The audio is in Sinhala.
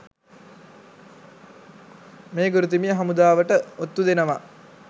මේ ගුරුතුමිය හමුදාවට ඔත්තු දෙනවා